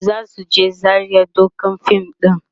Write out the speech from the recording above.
zasu je Zaria ɗaukan fim ɗin